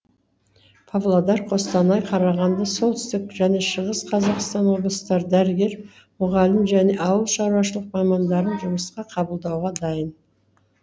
павлодар қостанай қарағанды солтүстік және шығыс қазақстан облыстары дәрігер мұғалім және ауыл шаруашылық мамандарын жұмысқа қабылдауға дайын